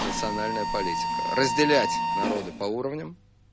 национальная политика разделять народы по уровням